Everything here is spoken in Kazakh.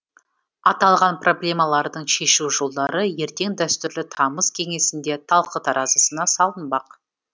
аталған проблемалардың шешу жолдары ертең дәстүрлі тамыз кеңесінде талқы таразысына салынбақ